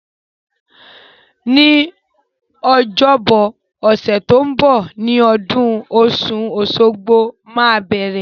Ní ọjọ́bọ ọ̀sẹ̀ to n bo ni odún osun-osogbo máa bẹ̀rẹ̀